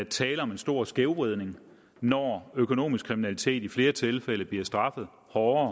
tale om en stor skævvridning når økonomisk kriminalitet i flere tilfælde bliver straffet hårdere